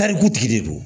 Tarikutigi de don